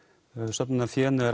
söfnunarfénu er